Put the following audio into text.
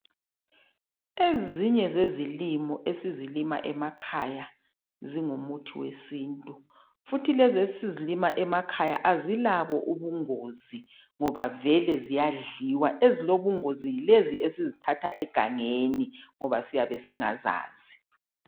Ezinye zezilimo esizilima emakhaya zingumuthi wesintu futhi lezi esizilima emakhaya azilabungozi ngoba ziyadliwa, ezilobungozi ngesizithatha egangeni ngoba siyabe singazazi.